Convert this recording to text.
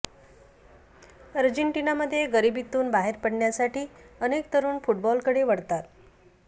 अर्जेंटिनामध्ये गरिबीतून बाहेर पडण्यासाठी अनेक तरुण फुटबॉलकडे वळतात